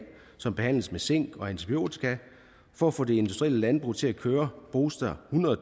som behandles med zink og antibiotika for at få det industrielle landbrug til at køre bruges der hundrede